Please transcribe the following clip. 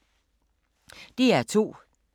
DR2